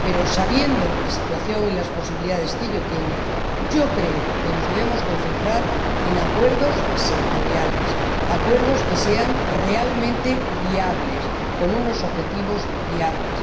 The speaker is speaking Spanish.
Pero conociendo la situación y las posibilidades que hay, yo creo que nos debemos concentrar en acuerdos sectoriales, acuerdos que sean realmente viables, con unos objetivos viables.